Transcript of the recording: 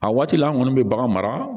A waati la an kɔni bɛ bagan mara